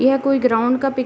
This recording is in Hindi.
यह कोई ग्राउंड का पिक् --